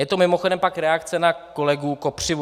Je to mimochodem pak reakce na kolegu Kopřivu.